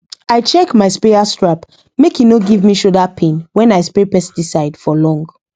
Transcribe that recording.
i check my sprayer strap make e no give me shoulder pain when i spray pesticide for long